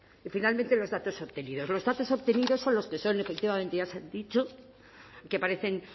y finalmente los datos obtenidos los datos obtenidos son los que son efectivamente ya se han dicho que aparecen